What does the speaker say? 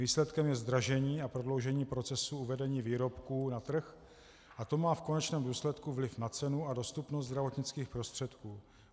Výsledkem je zdražení a prodloužení procesu uvedení výrobků na trh a to má v konečném důsledku vliv na cenu a dostupnost zdravotnických prostředků.